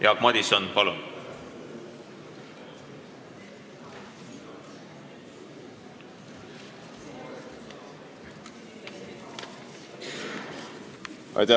Jaak Madison, palun!